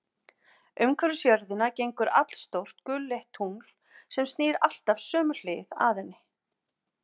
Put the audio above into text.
Umhverfis jörðina gengur allstórt gulleitt tungl, sem snýr alltaf sömu hlið að henni.